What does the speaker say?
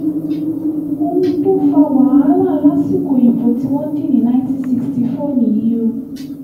ohun tó fa wàhálà lásìkò ìbò tí wọ́n dì ní 1964 nìyí o